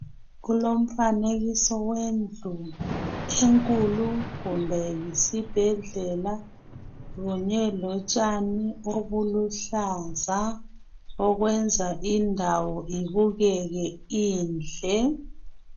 Kulomfanekiso wendlu enkulu kumbe yisibhedlela kunye lotshani obuluhlaza okwenza indawo ibukeke inhle.